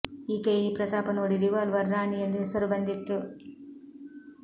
ಈಕೆಯ ಈ ಪ್ರತಾಪ ನೋಡಿ ರಿವಾಲ್ವರ್ ರಾಣಿ ಎಂದು ಹೆಸರು ಬಂದಿತ್ತು